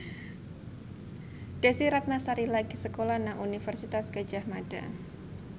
Desy Ratnasari lagi sekolah nang Universitas Gadjah Mada